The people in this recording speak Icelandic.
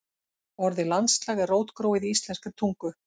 Orðið landslag er rótgróið í íslenskri tungu.